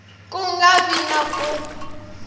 ku nga vi na ku